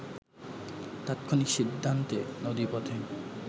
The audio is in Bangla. তাৎক্ষণিক সিদ্ধান্তে নদীপথে